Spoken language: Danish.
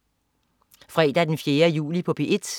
Fredag den 4. juli - P1: